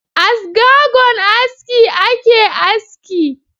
A sgagon aski ake aski.